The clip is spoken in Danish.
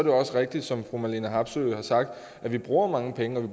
jo også rigtigt som fru marlene harpsøe har sagt at vi bruger mange penge